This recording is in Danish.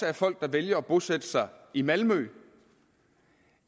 er folk der vælger at bosætte sig i malmø